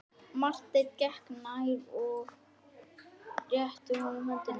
Marteinn gekk nær og rétti honum höndina.